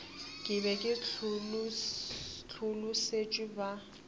ke be ke hlolosetšwe ba